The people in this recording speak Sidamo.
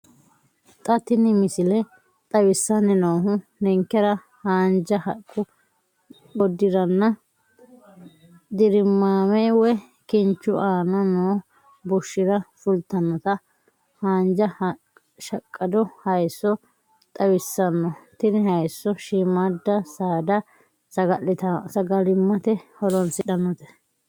Xa tini missile xawissanni noohu ninkera haanja haqqu godiranna dirimaame woyi kinchu aana noo bushshira fultannota haanja shaqqqado hayiisso xawissanno. Tini hayiisso shiimmaadda saada sagalimmate horoonsidhannote.